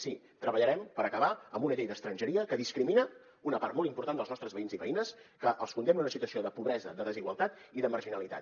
sí treballarem per acabar amb una llei d’estrangeria que discrimina una part molt important dels nostres veïns i veïnes que els condemna a una situació de pobresa de desigualtat i de marginalitat